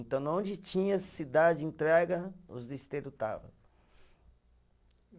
Então, na onde tinha cidade entrega, os listeiro estava.